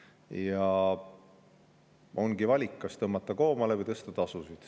Ja ongi valik, kas tõmmata koomale või tõsta tasusid.